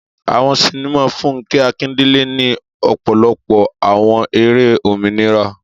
Àwọn sinima Funke Akindele ni ọpọlọpọ awọn eré òmìnira